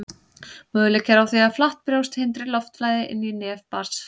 möguleiki er á því að flatt brjóst hindri loftflæði inn í nef barns